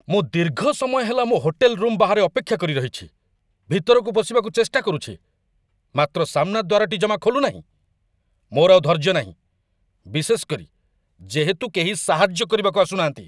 ମୁଁ ଦୀର୍ଘ ସମୟ ହେଲା ମୋ ହୋଟେଲ ରୁମ ବାହାରେ ଅପେକ୍ଷା କରି ରହିଛି, ଭିତରକୁ ପଶିବାକୁ ଚେଷ୍ଟା କରୁଛି, ମାତ୍ର ସାମ୍ନା ଦ୍ୱାରଟି ଜମା ଖୋଲୁନାହିଁ! ମୋର ଆଉ ଧୈର୍ଯ୍ୟ ନାହିଁ, ବିଶେଷ କରି, ଯେହେତୁ କେହି ସାହାଯ୍ୟ କରିବାକୁ ଆସୁନାହାଁନ୍ତି।